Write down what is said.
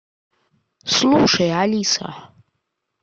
слушай алиса